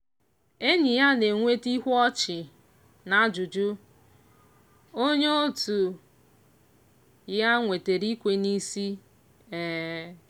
enyi ya na-enweta ihu ọchị na ajụjụ onye otu ya nwetara ikwe n'isi. um